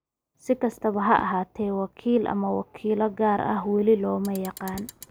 Si kastaba ha ahaatee, wakiil ama wakiilo gaar ah weli lama yaqaan.